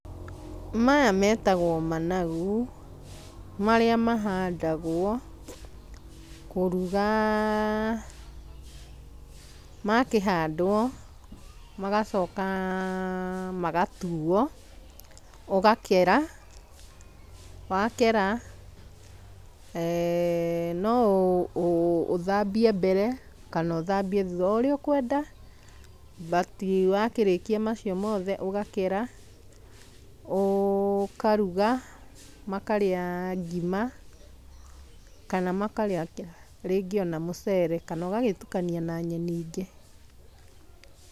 Maya metagwo managu, marĩa mahandagwo, kũruga. Makĩhandwo, magacoka magatuo, ũgakera, wakera noũthambie mbere, kana ũthambie thutha, oũrĩa ũkwenda, but wakĩrĩkia macio mothe, ũgakera, ũkaruga, makarĩa ngima, kana makarĩa rĩngĩ ona mũcere, kana ũgagĩtukania na nyeni ingĩ.